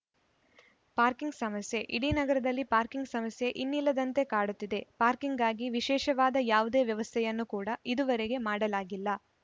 parking ಸಮಸ್ಯೆ ಇಡೀ ನಗರದಲ್ಲಿ ಪಾರ್ಕಿಂಗ್‌ ಸಮಸ್ಯೆ ಇನ್ನಿಲ್ಲದಂತೆ ಕಾಡುತ್ತಿದೆ ಪಾರ್ಕಿಂಗ್‌ಗಾಗಿ ವಿಶೇಷವಾದ ಯಾವುದೇ ವ್ಯವಸ್ಥೆಯನ್ನು ಕೂಡ ಇದುವರೆಗೆ ಮಾಡಲಾಗಿಲ್ಲ